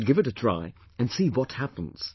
We should give it a try and see what happens